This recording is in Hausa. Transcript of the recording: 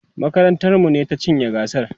makarantar mu ne ta cinye gasar